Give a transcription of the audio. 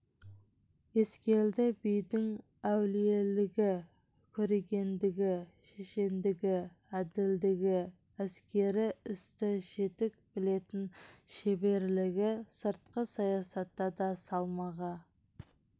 ескелді бидің әулиелігі көрегендігі шешендігі әділдігі әскери істі жетік білетін шеберлігі сыртқы саясатта да салмағы